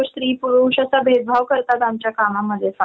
त्याच्यापेक्षा जे काही असेल ते मन मोकळ कर बोल बोल.